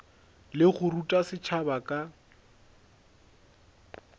le go ruta setšhaba ka